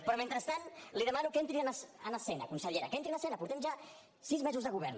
però mentrestant li demano que entri en escena consellera que entri en escena portem ja sis mesos de govern